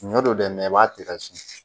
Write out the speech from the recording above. Ɲɔ don dɛ i b'a tɛgɛ su